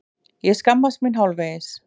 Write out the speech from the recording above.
Ég skammast mín hálfvegis.